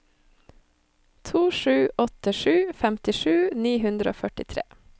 to sju åtte sju femtisju ni hundre og førtitre